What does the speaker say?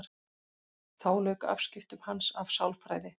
Þá lauk afskiptum hans af sálfræði.